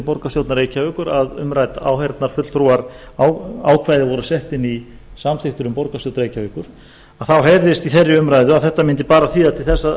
borgarstjórnar reykjavíkur að umrædd áheyrnarfulltrúaákvæði voru sett inn í samþykktir um borgarstjórn reykjavíkur þá heyrðist í þeirri umræðu að þetta mundi bara leiða til þess að